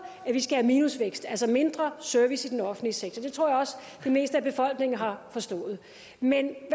at vi skal have minusvækst altså mindre service i den offentlige sektor og det tror jeg også det meste af befolkningen har forstået men